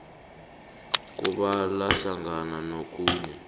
kubala hlangana nokhunye